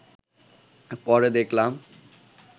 পরে দেখলাম